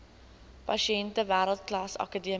pasiënte wêreldklas akademiese